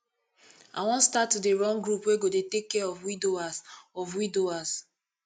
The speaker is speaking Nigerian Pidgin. i wan start to dey run group wey go dey take care of widowers of widowers